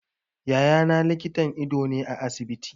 Yaya na likitan ido ne a asibiti.